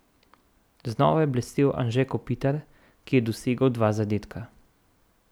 Znova je blestel Anže Kopitar, ki je dosegel dva zadetka.